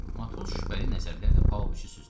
Matros şübhəli nəzərlərlə Pauloviçi süzdü.